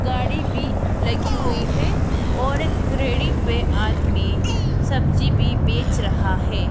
गाड़ी भी लगी हुई है और एक रेहड़ी पे आदमी सब्जी भी बेच रहा है।